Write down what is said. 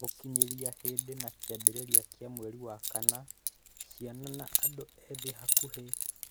Gũkinyĩria hĩndĩ ya kĩambĩrĩria kĩa mweri wa kana, ciana na andũ ethĩ hakuhĩ birioni ĩmwe gaturumo ithathatũ matiathomaga.